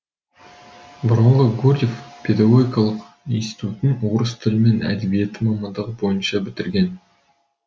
бұрынғы гурьев педогогикалық институтын орыс тілі мен әдебиеті мамандығы бойынша бітірген